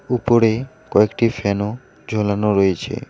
উপরে কয়েকটি ফ্যান -ও ঝোলানো রয়েছে।